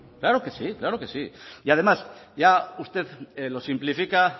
claro que sí claro que sí y además ya usted lo simplifica